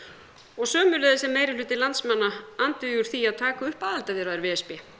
og sömuleiðis er meirihluti landsmanna andvígur því að taka upp aðildarviðræður við e s b